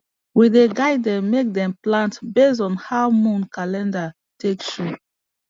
we dey guide dem make dem plant based on how moon calendar take show